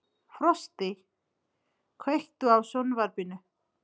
Frosti, kveiktu á sjónvarpinu.